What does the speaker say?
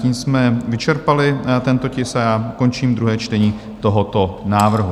Tím jsme vyčerpali tento tisk a já končím druhé čtení tohoto návrhu.